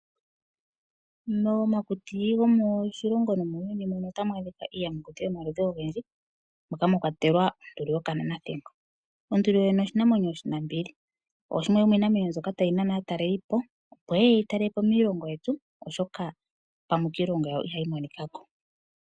Momakuti gomoshilongo nomutuuni ota mu adhika iiyamakuti yomaludhi ogendji. Moka mwa kwatelwa oonduli yokananathigo. Onduli yoye ne oshinamwenyo oshinambili. Oshimwe shomiinamwenyo mbyoka tayi nana aatalelipo opo yeye yeyi talelepo miilongo yetu oshoka pamwe kiilongo yawo ihayi monikako.